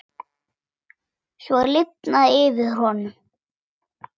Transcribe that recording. Svo lifnaði yfir honum.